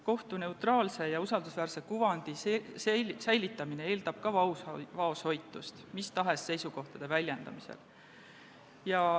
Kohtu neutraalse ja usaldusväärse kuvandi säilitamine eeldab vaoshoitust mis tahes seisukohtade väljendamisel.